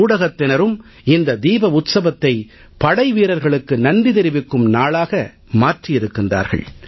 ஊடகத்தினரும் இந்த தீப உத்ஸவத்தை படைவீரர்களுக்கு நன்றி தெரிவிக்கும் நாளாக மாற்றி இருக்கிறார்கள்